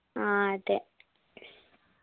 ആ അതെ